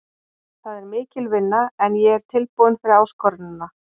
Það er mikil vinna en ég er tilbúinn fyrir áskorunina.